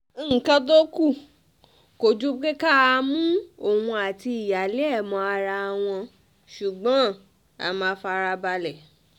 nǹkan tó kù kò ju pé ká mú òun àti ìyáálé ẹ̀ mọ ara wọn ṣùgbọ́n a máa fara balẹ̀